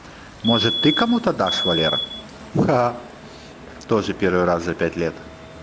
может ты кому-то дашь валера ха-ха тоже первый раз за пять лет